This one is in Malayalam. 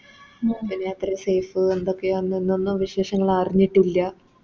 പിന്നെ അത്ര Safe ഉം എന്തൊക്കെയെന്നൊന്നും വിശേഷങ്ങളറിഞ്ഞിട്ടില്ല